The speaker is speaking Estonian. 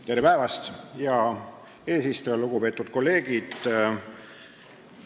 Tere päevast, hea eesistuja ja lugupeetud kolleegid!